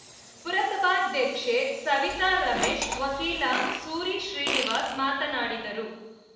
ಪುರಸಭಾಧ್ಯಕ್ಷೆ ಸವಿತಾ ರಮೇಶ್‌ ವಕೀಲ ಸೂರಿ ಶ್ರೀನಿವಾಸ್‌ ಮಾತನಾಡಿದರು